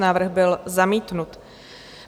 Návrh byl zamítnut.